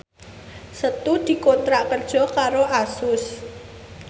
Setu dikontrak kerja karo Asus